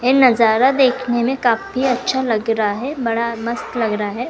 ये नजारा देखने में काफी अच्छा लगा रहा है बड़ा मस्त लग रहा है।